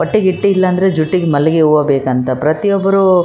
ಇಲ್ಲಿ ಒಬ್ಬ ಹುಡುಗ ಕಪ್ಪು ಬಣ್ಣದ ಶರ್ಟನ್ನು ಧರಿಸಿದ್ದಾನೆ ಕತ್ತಿನಲ್ಲಿ ಚೈನ್ನನ್ನು ಹಾಕಿದ್ದಾನೆ.